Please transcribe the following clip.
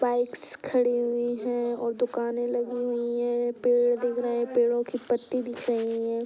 Bikes खड़ी हुई है और दुकानें लगी हुई हैं पेड़ दिख रहे हैं पेड़ो की पत्ती दिख रही हैं।